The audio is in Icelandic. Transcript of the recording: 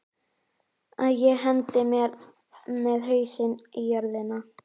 Að ég hendi mér með hausinn í jörðina?